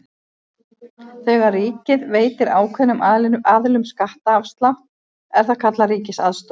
Þegar ríkið veitir ákveðnum aðilum skattaafslátt er það kallað ríkisaðstoð.